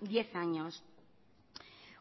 diez años